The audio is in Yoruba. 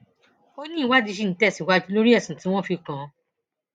ó ní ìwádìí ṣì ń tẹsíwájú lórí ẹsùn tí wọn fi kàn án